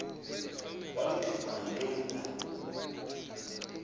walikhupha ngantoni na